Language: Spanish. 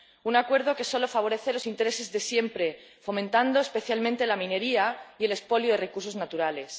un acuerdo que solo favorece los intereses de siempre, fomentando especialmente la minería y el expolio de recursos naturales.